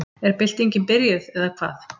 Er byltingin byrjuð, eða hvað?